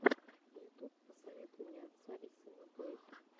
ютуб посоветуй мне отца и сына плэй